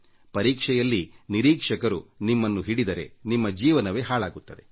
ಪರೀಕ್ಷೆಯಲ್ಲಿ ನಿರೀಕ್ಷಕರು ನಿಮ್ಮನ್ನು ಹಿಡಿದರೆ ನಿಮ್ಮ ಜೀವನವೇ ಹಾಳಾಗುತ್ತದೆ